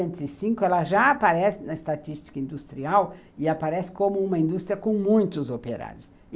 Em mil novecentos e cinco ela já aparece na estatística industrial e aparece como uma indústria com muitos operários.